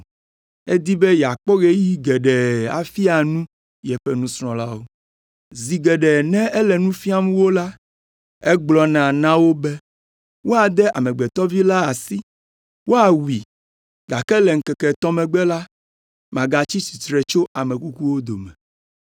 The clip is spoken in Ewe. edi be yeakpɔ ɣeyiɣi geɖe afia nu yeƒe nusrɔ̃lawo. Zi geɖe ne ele nu fiam wo la, egblɔna na wo be, “Woade Amegbetɔ Vi la asi, woawui, gake le ŋkeke etɔ̃ megbe la, magatsi tsitre tso ame kukuwo dome.”